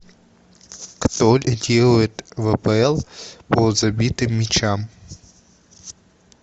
кто лидирует в апл по забитым мячам